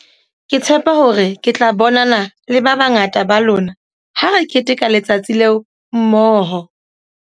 Ke tshepa hore ke tla bonana le ba bangata ba lona ha re keteka letsatsi leo mmoho.